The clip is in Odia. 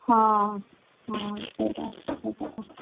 ହଁ ହଁ ସେଇଟା ସେଇକଥା।